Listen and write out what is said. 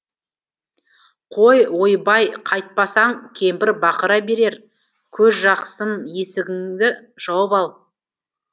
қой ойбай қайтпасаң кемпір бақыра берер көзжақсым есігіңді жауып ал